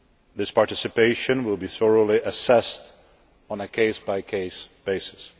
This participation will be thoroughly assessed on a case by case basis.